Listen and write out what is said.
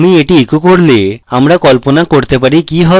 আমি এটি echo করলে আমরা কল্পনা করতে পারি কি হবে